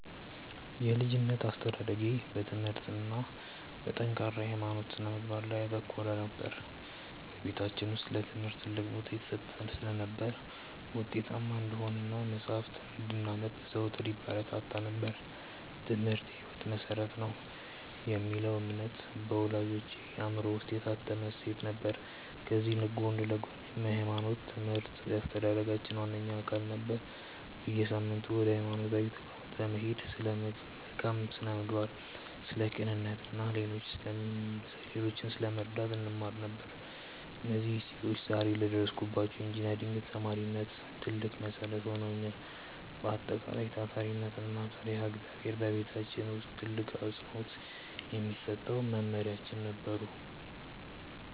የልጅነት አስተዳደጌ በትምህርት እና በጠንካራ የሃይማኖት ስነ-ምግባር ላይ ያተኮረ ነበር። በቤታችን ውስጥ ለትምህርት ትልቅ ቦታ ይሰጥ ስለነበር፣ ውጤታማ እንድንሆን እና መጽሐፍትን እንድናነብ ዘወትር ይበረታታ ነበር፤ "ትምህርት የህይወት መሰረት ነው" የሚለው እምነት በወላጆቼ አእምሮ ውስጥ የታተመ እሴት ነበር። ከዚህ ጎን ለጎንም የሃይማኖት ትምህርት የአስተዳደጋችን ዋነኛ አካል ነበር። በየሳምንቱ ወደ ሃይማኖት ተቋማት በመሄድ ስለ መልካም ስነ-ምግባር፣ ስለ ቅንነት እና ሌሎችን ስለመርዳት እንማር ነበር። እነዚህ እሴቶች ዛሬ ለደረስኩበት የኢንጂነሪንግ ተማሪነት ትልቅ መሰረት ሆነውኛል። በአጠቃላይ፣ ታታሪነት እና ፈሪሃ እግዚአብሔር በቤታችን ውስጥ ትልቅ አፅንዖት የሚሰጣቸው መመሪያዎቻችን ነበሩ።